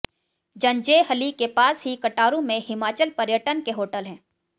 जंजैहली के पास ही कटारू में हिमाचल पर्यटन के होटल हैं